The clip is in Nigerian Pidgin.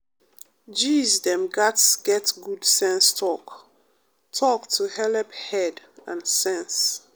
gees dem gatz get good sense talk-talk to helep head and sense.